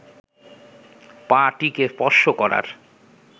পা-টিকে স্পর্শ করার